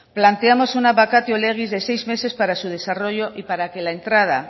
planteamos una vacatio legis de seis meses para su desarrollo y para que la entrada